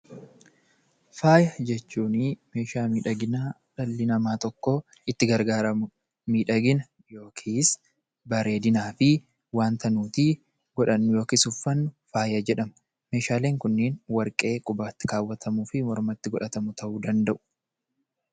Faaya jechuun meeshaa miidhaginaa dhalli namaa tokko itti gargaaramudha. Miidhagina yookiin bareedinaa fi wanta nuti godhannu yookiis uffannu faaya jedhama. Meeshaaleen kunneen warqee qubatti kaawwatamuu fi warqee mormatti kaawwatamu ta'uu danda'u.